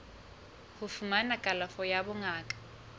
ho fumana kalafo ya bongaka